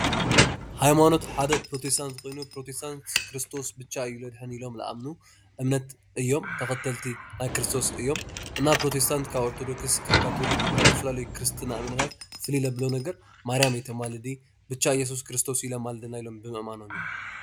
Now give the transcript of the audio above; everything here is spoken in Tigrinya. ሃይማኖት ሓደ ኘሮቴስታንት ኮይኑ ኘሮቴስታንት ክርስቶስ ብቻ እዩ ዘድሕን ኢሎም ዝኣምኑ እዮም፡፡ እምነት ተኸተልቲ ናይ ክርስቶስ እዮም፡፡ ኘሮቴስታንት ካብ ኦርቶዶክስ ካብ ካቶሊክ ካብ ዝተፈላለዩ ክርስትና እምነታት ፍልይ ዘብሎ ነገር ማርያም ኣይተማልድን ብቻ እየሱስ ክርስቶስ እዩ ለማልደና ኢሎም ብምእማኖም እዩ፡፡